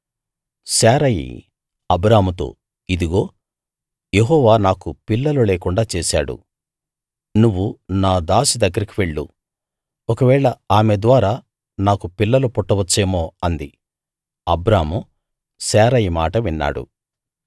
శారయి అబ్రాముతో ఇదుగో యెహోవా నాకు పిల్లలు లేకుండా చేశాడు నువ్వు నా దాసి దగ్గరికి వెళ్ళు ఒకవేళ ఆమె ద్వారా నాకు పిల్లలు పుట్టవచ్చేమో అంది అబ్రాము శారయి మాట విన్నాడు